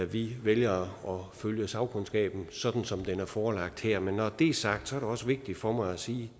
vi vælger at følge sagkundskaben sådan som dens udtalelser er forelagt her men når det er sagt er det også vigtigt for mig at sige